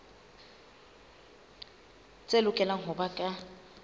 tse lokelang ho ba ka